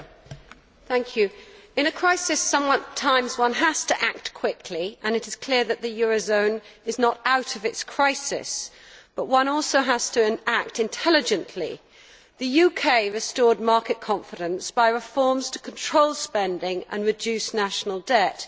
Madam President, in a crisis, one sometimes has to act quickly and it is clear that the eurozone is not out of its crisis but one also has to act intelligently. The UK restored market confidence by reforms to control spending and reduce national debt.